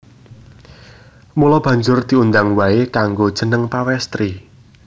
Mula banjur diundang waé nganggo jeneng Pawèstri